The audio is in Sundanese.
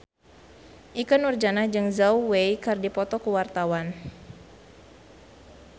Ikke Nurjanah jeung Zhao Wei keur dipoto ku wartawan